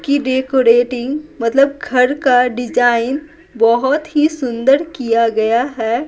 की डेकोरेटिंग मतलब घर का डिजाइन बहुत ही सुंदर किया गया है।